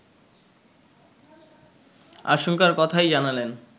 আশঙ্কার কথাই জানালেন